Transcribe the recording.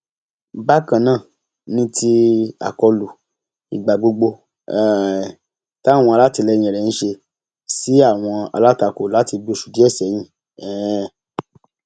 bákan náà ni ti àkọlù ìgbà gbogbo um táwọn alátìlẹyìn rẹ ń ṣe sí àwọn alátakò láti bíi oṣù díẹ sẹyìn um